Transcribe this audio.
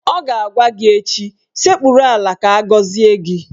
Ọ ga-agwa gị echi "Sekpuru ala ka agọzie gị!